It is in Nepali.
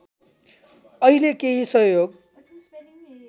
अहिले केही सहयोग